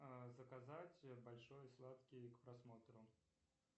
заказать большой сладкий к просмотру